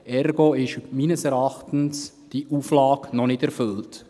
Ergo ist diese Auflage meines Erachtens noch nicht erfüllt.